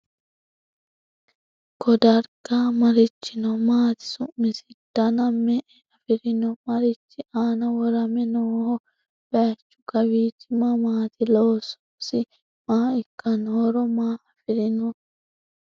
Ko dariga marichi noo? Maati su'misi? Danna me'e afirinno? Marichi aanna worame nooho? Bayiichchu kawiichchi mamaatti? Loososi maa ikkanno? horo maa affirinno?